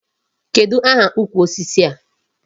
Kedụ aha ukwu osisi a?